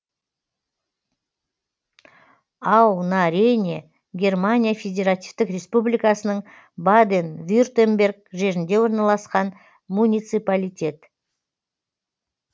ау на рейне германия федеративтік республикасының баден вюртемберг жерінде орналасқан муниципалитет